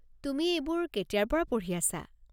তুমি এইবোৰ কেতিয়াৰ পৰা পঢ়ি আছা?